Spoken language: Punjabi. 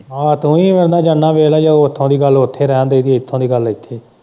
ਹਾਂ ਤੂੰ ਵੀ ਉਹਦੇ ਨਾਲ਼ ਜਾਣਾ ਵੇਖ ਲੈ ਜੇ ਉੱਥੋਂ ਦੀ ਗੱਲ ਉੱਥੇ ਰਹਿਣ ਦੇਈ ਦੀ ਇੱਥੋਂ ਦੀ ਗੱਲ ਇੱਥੋਂ ਦੀ ਗੱਲ ਇੱਥੇ।